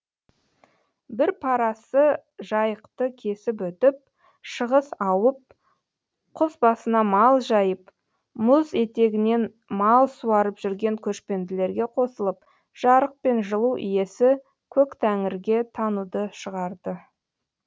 бір парасы жайықты кесіп өтіп шығыс ауып құз басына мал жайып мұз етегінен мал суарып жүрген көшпенділерге қосылып жарық пен жылу иесі көктәңірге тануды шығарды